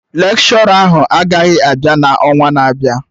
Lekshọra ahụ agaghị abịa na ọnwa na-abịa